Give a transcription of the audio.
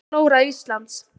Flóra Íslands.